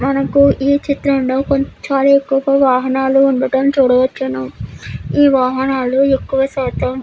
మనకు ఈ చిత్రం లో కొన్ని భారీ వాహనాలు ఉండడం చూడవచ్చును. ఈ వాహనాలు ఎక్కువ శాతం --